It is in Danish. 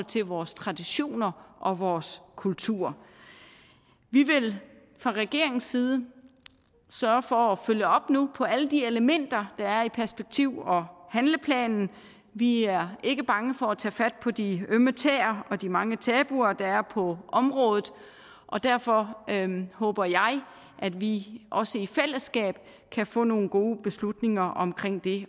til vores traditioner og vores kultur vi vil fra regeringens side sørge for at følge op nu på alle de elementer der er i perspektiv og handleplanen vi er ikke bange for at tage fat på de ømme tæer og de mange tabuer der er på området derfor håber jeg at vi også i fællesskab kan få nogle gode beslutninger omkring det